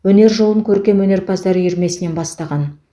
өнер жолын көркемөнерпаздар үйірмесінен бастаған